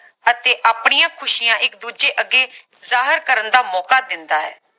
ਅਤੇ ਆਪਣੀਆਂ ਖੁਸ਼ੀਆਂ ਇਕ ਦੂਜੇ ਅੱਗੇ ਜਾਹਿਰ ਕਰਨ ਦਾ ਮੌਕਾ ਦਿੰਦਾ ਹੈ